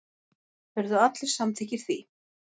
Urðu allir samþykkir því.